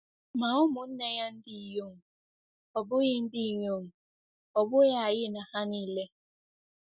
Ma umu-nne-ya ndinyom, ọ̀ bughi ndinyom, ọ̀ bughi ayi na ha nile?”